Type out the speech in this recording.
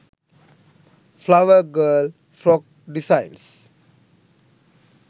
flower girl frock designs